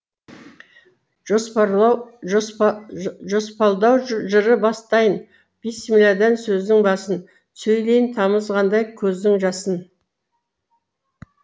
жоспалдау жыры бастайын бісмілләдан сөздің басын сөйлейін тамызғандай көздің жасын